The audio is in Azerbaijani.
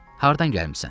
Hardan gəlmisən?